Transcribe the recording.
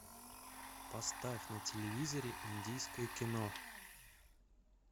поставь на телевизоре индийское кино